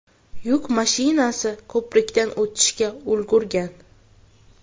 Yuk mashinasi ko‘prikdan o‘tishga ulgurgan.